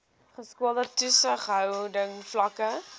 geskoolde toesighouding vlakke